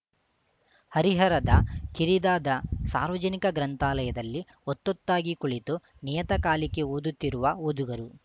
ಹರಿಹರದ ಕಿರಿದಾದ ಸಾರ್ವಜನಿಕ ಗ್ರಂಥಾಲಯದಲ್ಲಿ ಒತ್ತೊತ್ತಾಗಿ ಕುಳಿತು ನಿಯತಕಾಲಿಕೆ ಓದುತ್ತಿರುವ ಓದುಗರು